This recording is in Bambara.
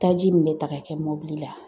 Taji min bɛ ta k'a kɛ mɔbili la